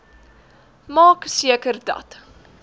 maak seker dat